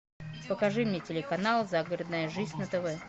покажи мне телеканал загородная жизнь на тв